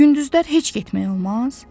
Gündüzlər heç getmək olmaz?